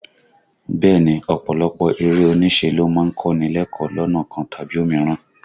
Bẹ́ẹ̀ ni, ọ̀pọ̀lọpọ̀ eré oníṣe ló má ń kọ́ ni lẹ́kọ̀ọ́ lọ́nà kan tàbí òmíràn